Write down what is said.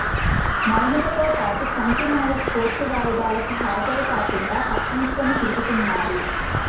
మౌనికతో పాటు చంటినాయక్ కోర్టు వాయిదాలకు హాజరు కాకుండా తప్పించుకుని తిరుగుతున్నారు